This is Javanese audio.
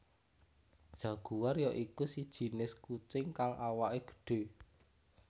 Jaguar ya iku sajinis kucing kang awaké gedhé